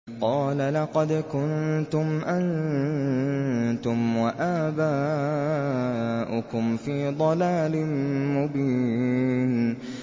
قَالَ لَقَدْ كُنتُمْ أَنتُمْ وَآبَاؤُكُمْ فِي ضَلَالٍ مُّبِينٍ